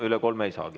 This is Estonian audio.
Üle kolme ei saagi.